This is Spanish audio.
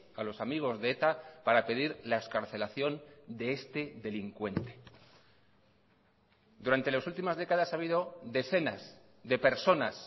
a los amigos de eta para pedir la excarcelación de este delincuente durante las últimas décadas ha habido decenas de personas